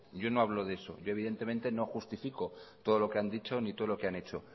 yo no hablo de eso yo evidentemente no justifico todo lo que han dicho ni todo lo que han hecho